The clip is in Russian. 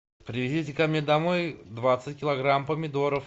привезите ко мне домой двадцать килограмм помидоров